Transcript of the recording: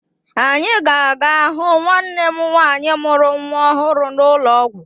Anyị ga-aga hụ nwanne m nwaanyị mụrụ nwa ọhụrụ n'ụlọ ọgwụ